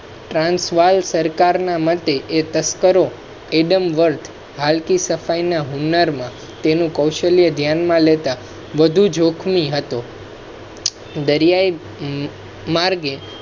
Trans વાલ સરકાર ના મતે એ તસ્કરો adam warth કલ્કિ સફાઈ ના હુન્નર માં તેનું કૌશલ્ય ધ્યાન માં લેતા વધુ જોખમી હતો. દરિયાઈ માર્ગે